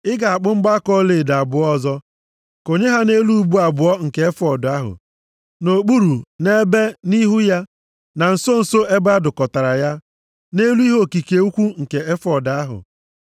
Ị ga-akpụ mgbaaka ọlaedo abụọ ọzọ, konye ha nʼelu ubu abụọ nke efọọd ahụ, nʼokpuru nʼebe nʼihu ya, na nso nso ebe a dụkọtara ya, nʼelu ihe okike ukwu nke efọọd ahụ.